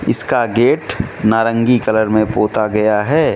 इसका गेट नारंगी कलर में पोता गया है।